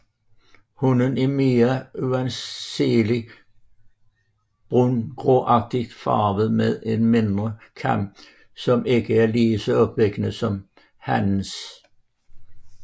Hunnen er mere uanselig brungråagtigt farvet med en mindre kam som ikke er lige så opsigtsvækkende som hannens